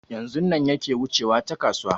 Yanzun nan yake wucewa ta kasuwa